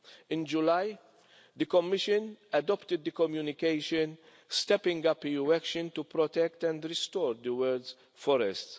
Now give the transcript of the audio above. In July, the Commission adopted the communication stepping up EU election to protect and restore the world's forests.